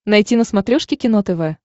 найти на смотрешке кино тв